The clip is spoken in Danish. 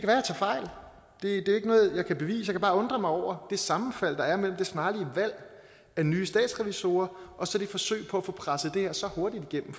er ikke noget jeg kan bevise kan bare undre mig over det sammenfald der er mellem det snarlige valg af nye statsrevisorer og så det forsøg på at få presset det her så hurtigt igennem